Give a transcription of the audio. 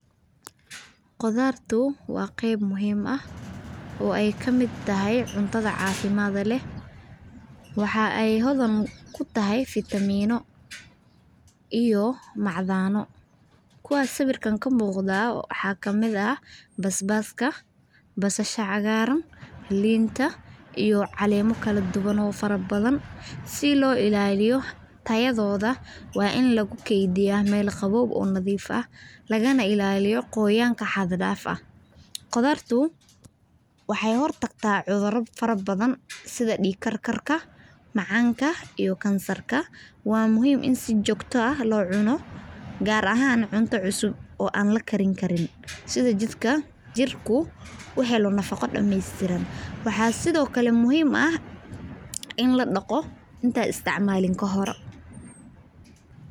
Qodarto waa qab muhiim ah, oo ay kamid tahay cuntada cafimdka lah, waxah ay hordan ku tahay vitamino, iyo macdano kuwa siwirka ka muqda wax kamid ah, baas baska, basasha cagaran linta, calamao kle dugan oo farabadan si lo ila aliyo tayadoda way in lagu gadiyah mal qawow ah oo nadif ah laga na ilaliyo qoyanka xad daf ah qudartu , waxay hortagtah cudura fara badan, side digkarkarkah macanka iyo gansarka wa muhiim in si jogah lo cuno gar ahan cunta cusub oo an lagarin side jika jirku ohalo nafaca damastiran wax side okle muhiim ah in ladaqo inta isticmalan ka hore.